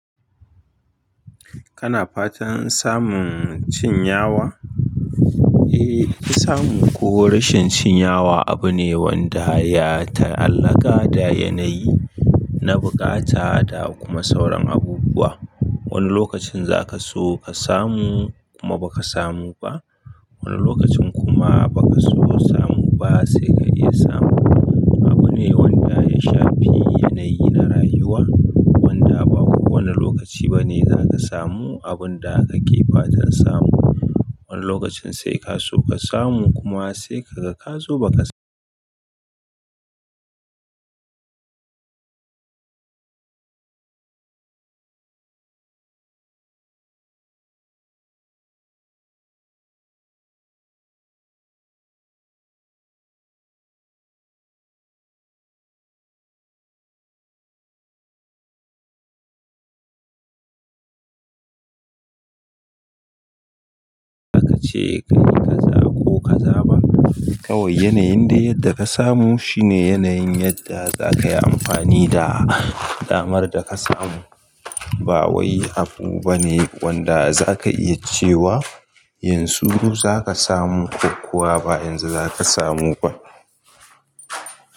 Kana fatan samun cin yawa? Eh, samun ko rashin cin yawa abu ne wanda ya taallaka da yanayi na bukata da kuma sauran abubuwa. Wani lokacin za ka so ka samu kuma ba ka samu ba, wani lokacin kuma ba ka so samu ba sai ka iya samu. Abu ne wanda ya shafi yanayi na rayuwa wanda ba kowane lokaci ba ne za ka samu abin da kake fatan samu. Wani lokacin sai ka so ka samu kuma sai ka ga ka zo ba ka samu. Hakace kai ka za ko ka za ba, kawai yanayin da yadda ka samu shine yanayin yadda za ka yi amfani da damar da ka samu. Ba wai abu bane wanda za ka iya cewa yanzu zaka samu kokowa ba yanzu za ka samu ba.